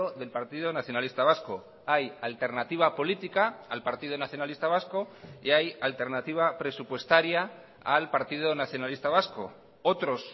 del partido nacionalista vasco hay alternativa política al partido nacionalista vasco y hay alternativa presupuestaria al partido nacionalista vasco otros